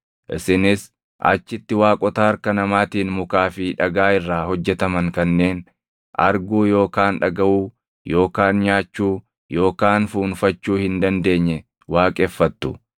Isinis achitti waaqota harka namaatiin mukaa fi dhagaa irraa hojjetaman kanneen arguu yookaan dhagaʼuu yookaan nyaachuu yookaan fuunfachuu hin dandeenye waaqeffattu.